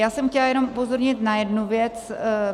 Já jsem chtěla jenom upozornit na jednu věc.